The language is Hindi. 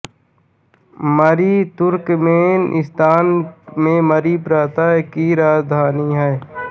मरी तुर्कमेनिस्तान के मरी प्रांत की राजधानी है